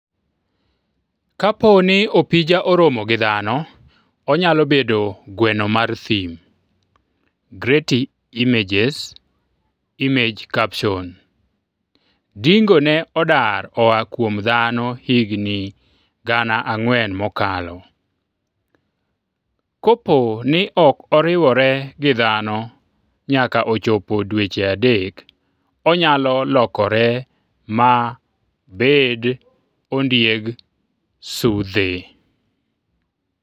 Kapo ni opija oromo gi dhano, onyalo bedo Gweno mar thim. Getty Images Image caption Dingo ne odar oa kuom dhano higni 4,000 mokalo Kapo ni ok oriwore gi dhano nyaka ochopo dweche adek, onyalo lokore ma bed ondieg sidhe.